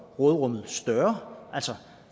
råderummet større altså